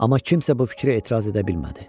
Amma kimsə bu fikrə etiraz edə bilmədi.